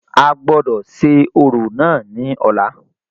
A gbọ́dọ̀ ṣe orò náà ní ọ̀la.